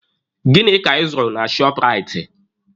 Gịnị ka ị zụrụ na shọọpụraiti?